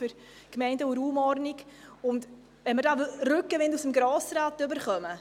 Es freut uns sehr, wenn wir Rückenwind aus dem Grossen Rat bekommen.